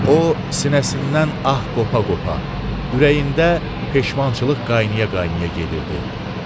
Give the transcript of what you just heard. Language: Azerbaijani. O sinəsindən ah qopa-qopa, ürəyində peşmançılıq qayna-qayna gedirdi.